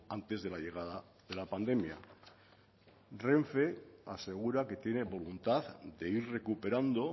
antes de la llegada de la pandemia renfe asegura que tiene voluntad de ir recuperando